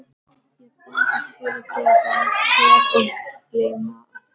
Ég er búinn að fyrirgefa þér og gleyma því öllu